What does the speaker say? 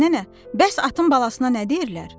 Fəxri nənə, bəs atın balasına nə deyirlər?